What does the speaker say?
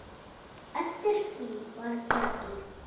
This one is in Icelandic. Eftir því var tekið.